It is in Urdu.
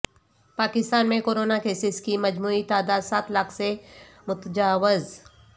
پاکستان میں کرونا کیسز کی مجموعی تعداد سات لاکھ سے متجاوز